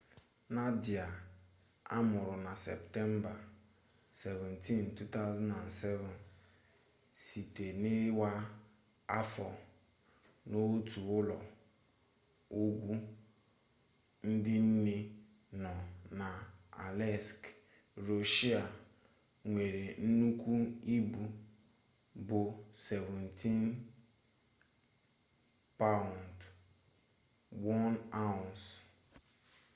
nadia amụrụ na septemba 17 2007 site n'iwa afọ n'otu ụlọ ọgwụ ndị nne nọ na aleisk rọshịa nwere nnukwu ibu bụ 17 paụnd 1 ounce